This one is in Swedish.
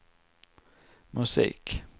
musik